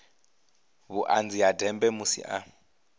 vhuṱanzi ha ndeme musi a